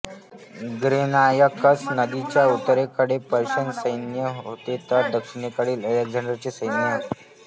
Granicus नदीच्या उत्तरेकडे Persian सैन्य होते तर दक्षिणेकडे अलेक्झांडरचे सैन्य